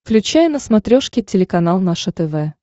включай на смотрешке телеканал наше тв